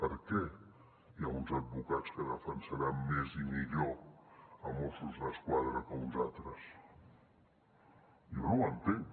per què hi ha uns advocats que defensaran més i millor a mossos d’esquadra que uns altres jo no ho entenc